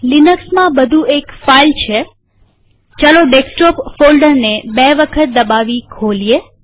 લિનક્સમાં બધું એક ફાઈલ છેડેસ્કટોપ ફોલ્ડરને બે વખત દબાવી ખોઇએ